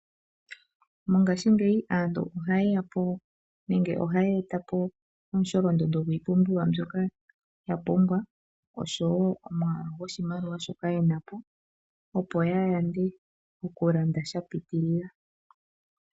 Mongashingeyi aantu ohaya e ta po omusholondondo gwiipumbiwa mbyoka ya pumbwa, osho wo omwaalu goshimaliwa shoka ye na po, opo ya yande oku landa sha pitilila.